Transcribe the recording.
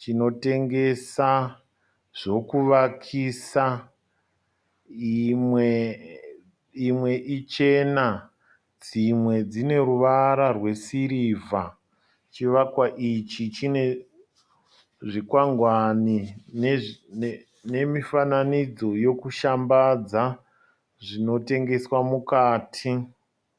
chinotengesa zvokuvakisa. Imwe ichena dzimwe dzine ruvara rwesirivha. Chivakwa ichi chine zvikwangwani nemifananidzo yekushambadza zvinotengeswa mukati.